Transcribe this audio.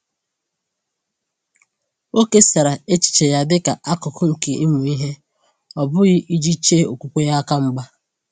O kesara echiche ya dịka akụkụ nke ịmụ ihe, ọ bụghị iji chee okwukwe aka mgba.